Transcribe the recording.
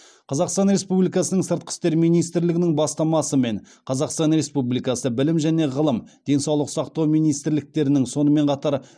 қазақстан республикасының сыртқы істер министрлігінің бастамасымен қазақстан республикасы білім және ғылым денсаулық сақтау министрліктерінің сонымен қатар